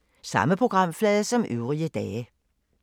Samme programflade som øvrige dage